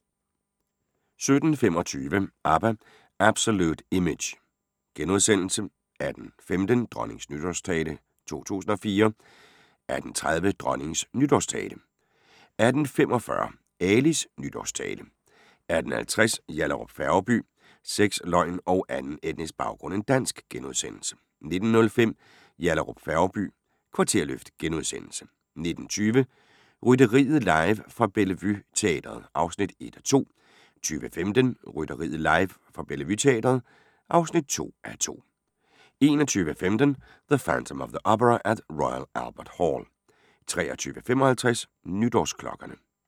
17:25: ABBA – Absolut Image * 18:15: Dronningens Nytårstale 2004 18:30: Dronningens nytårstale 18:45: Alis nytårstale 18:50: Yallahrup Færgeby: Sex, løgn og anden etnisk baggrund end dansk * 19:05: Yallahrup Færgeby: Kvarterløft * 19:20: Rytteriet live fra Bellevue Teatret (1:2) 20:15: Rytteriet live fra Bellevue Teatret (2:2) 21:15: The Phantom of the Opera at the Royal Albert Hall 23:55: Nytårsklokkerne